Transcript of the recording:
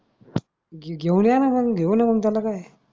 घे घेऊन येन मंग घेऊ न मंग त्याला काय.